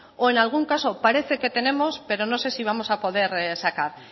o en algún caso parece que tenemos pero no sé si vamos a poder sacar